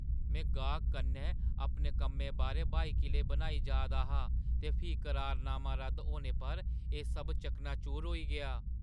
में गाह्‌कै कन्नै अपने कम्मै बारै ब्हाई किले बनाऽ जा दा हा ते फ्ही करारनामा रद्द होने पर एह् सब चकनाचूर होई गेआ।